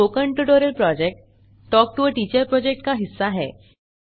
spoken tutorial project talk to a teacher project का हिस्सा है